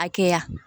Hakɛya